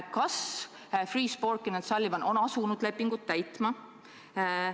Kas Freeh, Sporkin & Sullivan on asunud lepingut täitma?